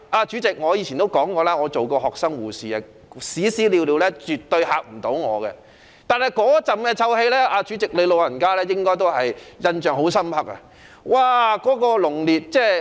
主席，我以前說過，我做過學生護士，屎尿絕對嚇不到我，但主席，你對那股臭味應該印象深刻。